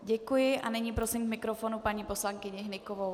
Děkuji a nyní prosím k mikrofonu paní poslankyni Hnykovou.